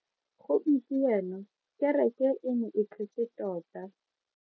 Gompieno kereke e ne e tletse tota.